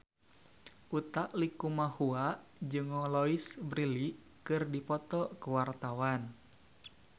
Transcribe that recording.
Utha Likumahua jeung Louise Brealey keur dipoto ku wartawan